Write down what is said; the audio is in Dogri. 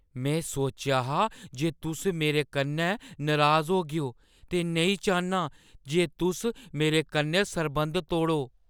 मैं सोचेआ हा जे तुस मेरे कन्नै नराज होगेओ ते नेईं चाह्न्नां जे तुस मेरे कन्नै सरबंध तोड़ो।